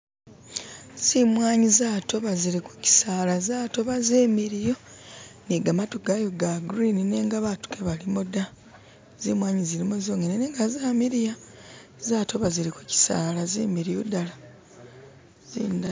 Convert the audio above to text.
Zimwaanyi zatoba zili ku kisaala zatoba ni gamatu gayo ga green nenga baatu kebalimu da zimwaanyi zonyene nenga zamiliya. Zatoba zili ku kisaala zimiliyu dala zinda...